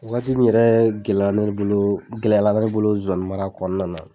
Wagati min yɛrɛ gɛlɛ ne bolo gɛlɛyara ne bolo zonzanni mara kɔnɔna na